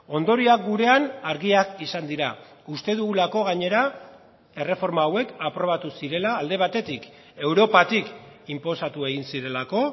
ondorioak gurean argiak izan dira uste dugulako gainera erreforma hauek aprobatu zirela alde batetik europatik inposatu egin zirelako